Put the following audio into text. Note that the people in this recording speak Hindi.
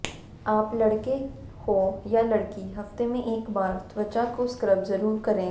आप लड़के हो या लड़की हफ्ते में एक बार त्वचा को स्क्रब जरूर करें